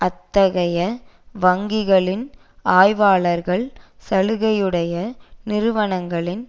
அத்தகைய வங்கிகளின் ஆய்வாளர்கள் சலுகையுடைய நிறுவனங்களின்